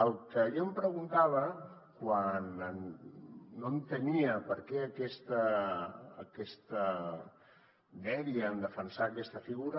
el que jo em preguntava quan no entenia per què aquesta dèria en defensar aquesta figura